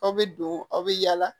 Aw bɛ don aw bɛ yaala